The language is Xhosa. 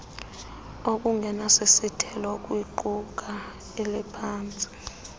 okungenasithintelo kwiqula lemiphantsi